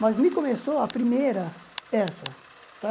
Mas me começou a primeira, essa, tá?